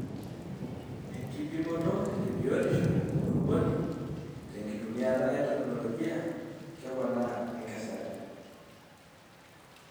Ekipimoto ebiotisho enkulupuoni tenkitumiata e teknologia keponaa enkesare.